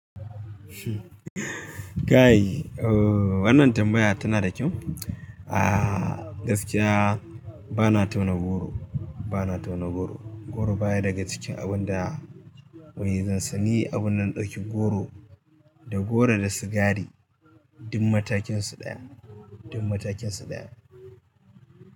Guy, wannan tambaya tana da kyau. A gaskiya bana tauna goro, bana tauna goro. Goro baya daga cikin abun da wai zan sa ni abun da na ɗauki goro da goro da sigari duk matakin su ɗaya, duk matakin su ɗaya.